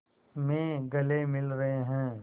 में गले मिल रहे हैं